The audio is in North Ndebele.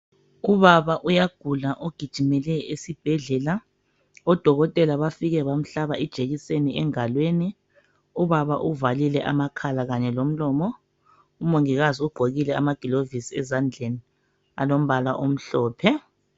Ubaba uyagula ugijimele esibhedlela .Odokotela bafike bamhlaba ijekiseni engalweni .Ubaba uvalile amakhala kanye lomlomo .Umongikazi ugqokile ama gilovisi ezandleni alombala omhlophe .